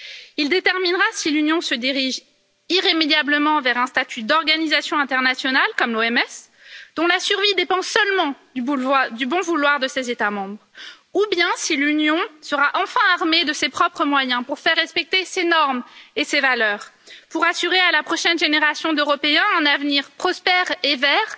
Il déterminera si l'Union se dirige irrémédiablement vers un statut d'organisation internationale, comme l'OMS, dont la survie dépend seulement du bon vouloir de ses États membres, ou bien si l'Union sera enfin armée de ses propres moyens pour faire respecter ses normes et ses valeurs, pour assurer à la prochaine génération d'Européens un avenir prospère et vert,